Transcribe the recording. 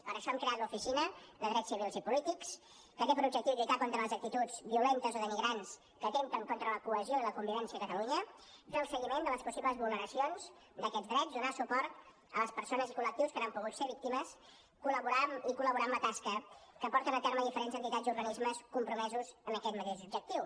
per això hem creat l’oficina de drets civils i polítics que té per objectiu lluitar contra les actituds violentes o denigrants que atempten contra la cohesió i la convivència a catalunya fer el seguiment de les possibles vulneracions d’aquests drets donar suport a les persones i col·lectius que n’han pogut ser víctimes i col·laborar amb la tasca que porten a terme diferents entitats i organismes compromesos en aquest mateix objectiu